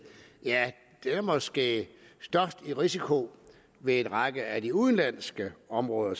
er måske i størst risiko ved en række af de udenlandske områder